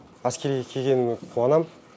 әскерге келгеніме қуанамын